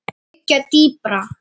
liggja dýpra.